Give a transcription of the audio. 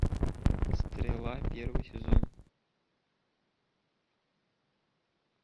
стрела первый сезон